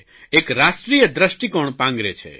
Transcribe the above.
એક રાષ્ટ્રીય દ્રષ્ટિકોણ પાંગરે છે